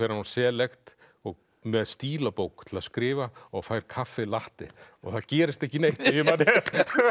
á Select með stílabók til að skrifa og fær kaffi latte það gerist ekki neitt ef ég man rétt